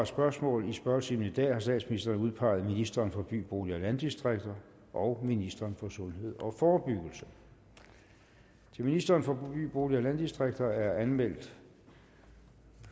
spørgsmål i spørgetimen i dag har statsministeren udpeget ministeren for by bolig og landdistrikter og ministeren for sundhed og forebyggelse til ministeren for by bolig og landdistrikter er anmeldt